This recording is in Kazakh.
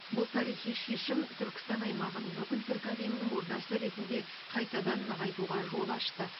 бұл тарихи шешім түркістан аймағын бүкіл түркі әлемінің ордасы ретінде қайтадан нығайтуға жол ашты